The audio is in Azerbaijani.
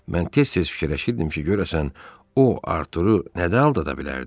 Mən tez-tez fikirləşirdim ki, görəsən o Arturu nədə aldada bilərdi?